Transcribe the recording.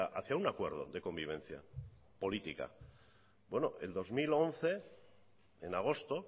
hacia un acuerdo de convivencia política el dos mil once en agosto